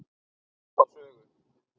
Ég man þá sögu.